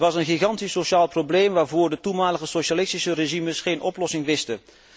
Het was een gigantisch sociaal probleem, waarvoor de toenmalige socialistische regimes geen oplossing wisten.